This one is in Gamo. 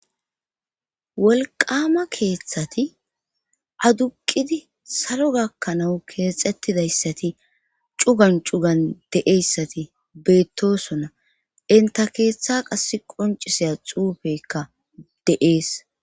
Wolqama keeththati aduqidi salo gakkanawu keexettidayssati cugan cugan deeyssati beettosona inta keeththa qas qoncisiya xuufekka de7ees